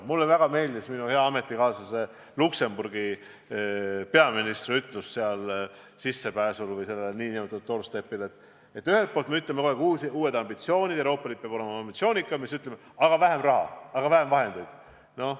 Mulle väga meeldis minu hea ametikaaslase Luksemburgi peaministri ütlus seal sissepääsul või sealsel doorstep'il, et ühelt poolt me räägime kogu aeg uutest ambitsioonidest, sellest, et Euroopa Liit peab olema ambitsioonikam, ja siis ütleme, et aga vähem raha, vähem vahendeid.